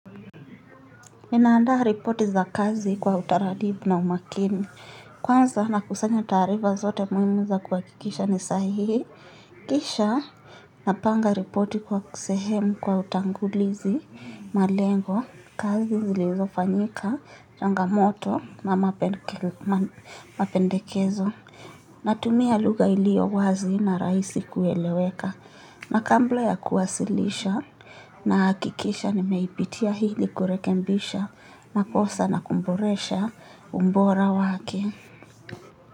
Ninaandaa ripoti za kazi kwa utaratibu na umakini. Kwanza na kusanya taarifa zote muhimu za kuha kikisha ni sahihi. Kisha napanga ripoti kwa kusehemu kwa utangulizi malengo kazi zilizofanyika changamoto na mapendekel mapendekezo. Natumia lugha iliyo wazi na rahisi kueleweka. Nakambla ya kuwasilisha na hakikisha ni meipitia hili kurekembisha. Makosa na kumboresha umbora wake.